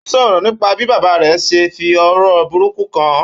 Ó sọ̀rọ̀ nípa bí bàbá rẹ̀ ṣe ń fi ọ̀rọ̀ burúkú kàn án.